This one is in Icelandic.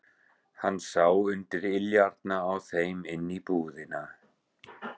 Hann sá undir iljarnar á þeim inn í íbúðina.